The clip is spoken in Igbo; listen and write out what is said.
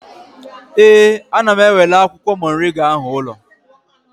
Ee, ana m enwela akwụkwọ moringa ahụ ụlọ